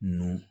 N'u